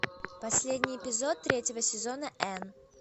последний эпизод третьего сезона энн